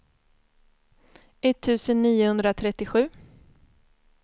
etttusen niohundratrettiosju